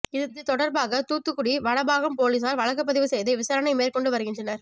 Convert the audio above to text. இது தொடர்பாக தூத்துக்குடி வடபாகம் போலீசார் வழக்குப்பதிவு செய்து விசாரணை மேற்கொண்டு வருகின்றனர்